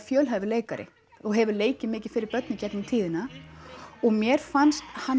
fjölhæfur leikari og hefur leikið mikið fyrir börn í gegnum tíðina og mér fannst hann